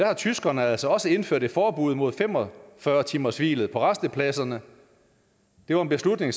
har tyskerne altså også indført et forbud mod fem og fyrre timershvilet på rastepladserne det var en beslutning